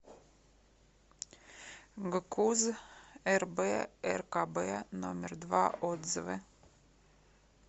гкуз рб ркб номер два отзывы